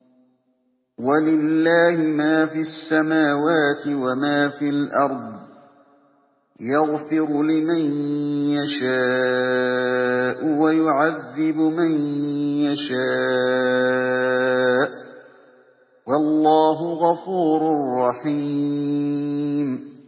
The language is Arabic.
وَلِلَّهِ مَا فِي السَّمَاوَاتِ وَمَا فِي الْأَرْضِ ۚ يَغْفِرُ لِمَن يَشَاءُ وَيُعَذِّبُ مَن يَشَاءُ ۚ وَاللَّهُ غَفُورٌ رَّحِيمٌ